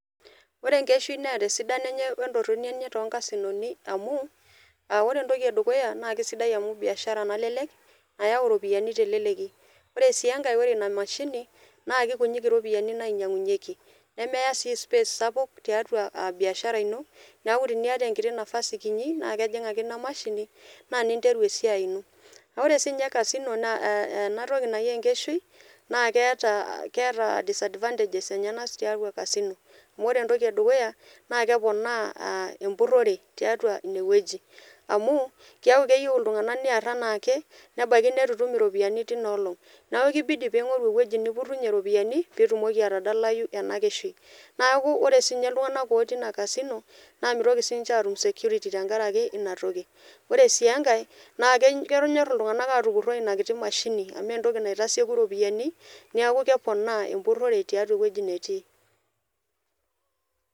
Ore enkeshi neeta esidano enye oo entoroni enye te nkasinoni amuu ore entoki edukuya naa kesidai amu biashara nalelek nayau iropiyiani te leleki, ore sii enkae ore ina imashini naa kekunyiiki iropiyiani nainyang'unyeki nemeya sii space sapuk teatua biashara ino naaku tenieta enkiti napasi kinyi naa kejing' ake ina imashini naa ninteru esiai ino, naa ore sii ninye kasino naa ana toki najii enkeshi naa keata disadvantages enyena teatua kasino amu ore entoki edukuya naa keponaa empurore teatua ineweji amu keaku keyeu ltunganak nilak anaake nebaki netu itum iropiyiani teuina olong, naaku keibidi piing'oru eweji nipurunye iropiyiani piitumoki atadalayu enkesheni, naaku ore sii ninye ltunganak otii ina kasino naa meitoki sii ninche aatum security tengaraki inatoki, ore sii enkae naa kenyorr ltunganak aatupuroi ina kiti mashini amu entoki naitaseku iropiyiani neaku keponaa empurore teatua eweji netii.